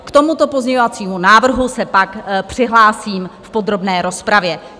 K tomuto pozměňovacímu návrhu se pak přihlásím v podrobné rozpravě.